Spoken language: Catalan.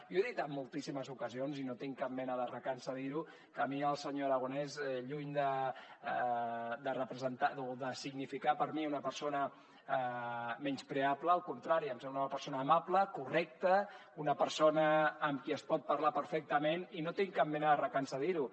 jo he dit en moltíssimes ocasions i no tinc cap mena de recança a dir ho que a mi el senyor aragonès lluny de significar per a mi una persona menyspreable al contrari em sembla una persona amable correcta una persona amb qui es pot parlar perfectament i no tinc cap mena de recança a dir ho